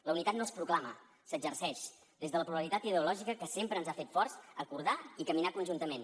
la unitat no es proclama s’exerceix des de la pluralitat ideològica que sempre ens ha fet forts acordar i caminar conjuntament